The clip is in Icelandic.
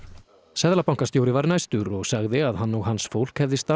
seðlabankastjóri var næstur og sagði að hann og hans fólk hefði